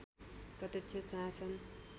प्रत्यक्ष शासन